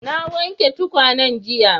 Na wanke tukwanen jiya.